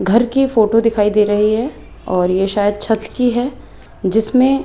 घर की फोटो दिखाई दे रही है और ये शायद छत की है जिसमें--